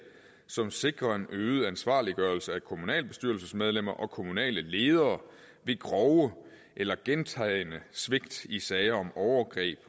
som sikrer en øget ansvarliggørelse af kommunalbestyrelsesmedlemmer og kommunale ledere ved grove eller gentagne svigt i sager om overgreb